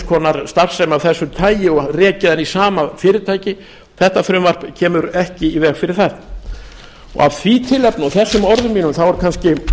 konar starfsemi af þessu tagi og rekið hana í sama fyrirtæki þetta frumvarp kemur ekki í veg fyrir það af því tilefnin og þessum orðum mínum er kannski